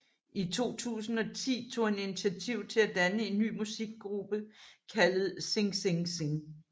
I 2010 tog han initiativ til at danne en ny musikgruppe kaldet Sing Sing Sing